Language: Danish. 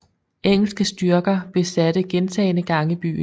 Engelske styrker besatte gentagne gange byen